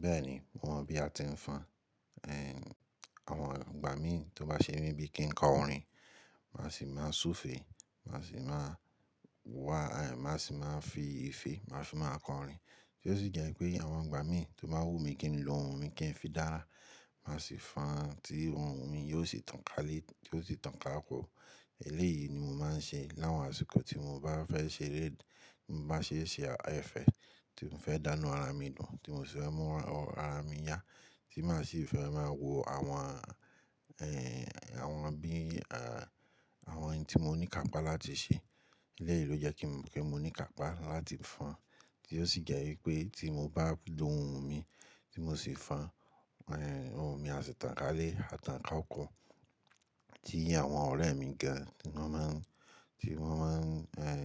Bẹ́ẹ̀ni, mo mọ̀ bí a ti ń fọn. Ẹ̀, àwọn àgbà mí tó bá ṣe mí bíi kí n kọ orin, màá sì máa súfèé, màá sì máa wá, ẹ̀, màá sì máa fi ìfẹ́, màá fì máa kọ orin. Tí ó sì jẹ́ pé àwọn àgbà mí tó bá wù mí kí ni lo ohun mi kí n fi dára, màá sì fọn tí ohun mi yóò sì tànkáari, tí ó sì tàn ká ko. Eléyìí ni mo máa ń ṣe láwọn àsìkò tí mo bá fẹ́ ṣeré, tí mo bá ṣe ṣe ẹfẹ́ tí mo fẹ́ dáná ara mi dùn, tí mo sì fẹ́ mú ara mi yá, tí màá sì fẹ́ máa wo àwọn, ẹ́, àwọn bí, à, àwọn ohun tí mo ní kàpá láti ṣe. Eléyìí ló jẹ́ kí mo, kí mo ní kàpá láti fọn tí ó sì jẹ́ wípé tí mo bá lo ohun mi tí mo sì fọn, ẹ̀, ohun mi á sì tànkálé, á tàn ká oko tí àwọn ọ̀rẹ́ mi gan tí wọ́n máa ń, tí wọ́n máa ń, ẹ́,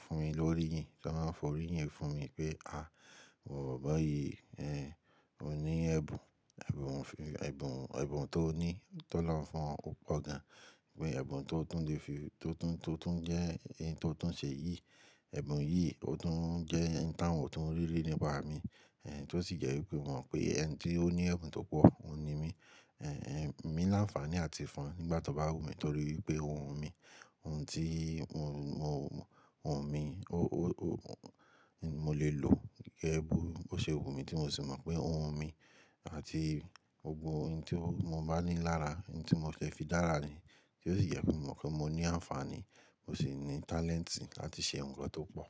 fún mi lórí, tí wọ́n máa fọ́ orí yín fún mi pé "à, iwọ boboyi, ẹ, o ní ẹ̀bùn. Ẹ̀bùn, ẹ̀bùn, ẹ̀bùn tó ní, tó lọ́ fún ọ́ pọ̀ gan." pé ẹ̀bùn tó tún le fi, tó tún, tó tún jẹ́ ohun tó tún ṣe yìí, ẹ̀bùn yìí ó tún jẹ́ ohun táwọn tó ń rí rí nípa mi. Ẹ̀, tí ó sì jẹ́ wípé wọ́n mọ̀ pé ẹni tí ó ní ẹ̀bùn tó pọ̀, òun ni mí. Ẹ̀n, èmi ní àǹfààní láti fọn nígbà tó bá wù mí torí pé ohun mi, ohun tí ohun mi, o, o, o, mo lè lò gẹ́gẹ́ bí ó ṣe wù mí tí mo sì mọ̀ pé ohun mi àti gbogbo ohun tí mo bá ní lára, ohun tí mo fẹ́ fi dára ni. Tí ó sì jẹ́ pé mo mọ̀ pé mo ní àǹfààní, mo sì ní talent láti ṣe nǹkan tó pọ̀.